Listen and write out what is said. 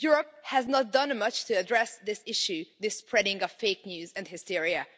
Europe has not done much to address this issue of the spreading of fake news and hysteria.